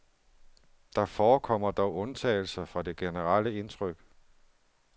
Der forekommer dog undtagelser fra det generelle indtryk.